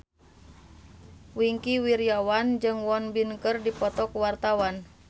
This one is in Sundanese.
Wingky Wiryawan jeung Won Bin keur dipoto ku wartawan